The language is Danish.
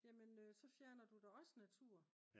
jamen så fjerner du da også natur